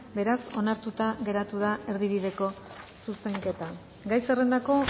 beraz onartuta geratu da erdibideko zuzenketa gai zerrendako